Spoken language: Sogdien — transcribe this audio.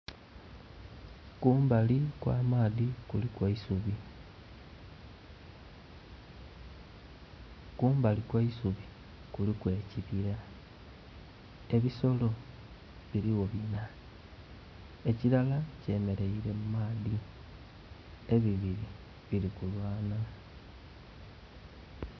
Kumbali kw'amaadhi kuliku eisubi. Kumbali kw'eisubi kuliku ekibira. Ebisolo biliwo bina, ekilala kyemeleire mu maadhi, ebibiri bili kulwana.